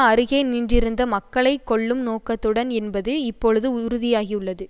அருகே நின்றிருந்த மக்களை கொல்லும் நோக்கத்துடன் என்பது இப்பொழுது உறுதியாகியுள்ளது